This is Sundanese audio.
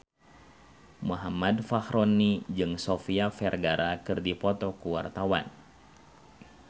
Muhammad Fachroni jeung Sofia Vergara keur dipoto ku wartawan